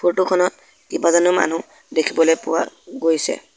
Photo খনত কেইবাজনো মানুহ দেখিবলৈ পোৱা গৈছে।